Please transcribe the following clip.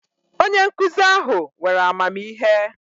Onye nkuzi ahu were amamihe